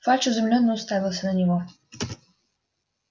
фадж изумлённо уставился на него